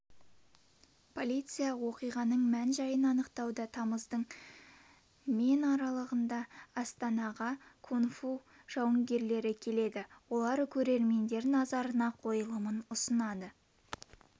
полиция оқиғаның мән-жайын анықтауда тамыздың мен аралығында астанаға кунг-фу жауынгерлері келеді олар көрермендер назарына қойылымын ұсынады